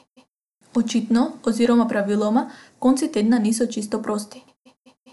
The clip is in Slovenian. Očitno, oziroma praviloma, konci tedna niso čisto prosti.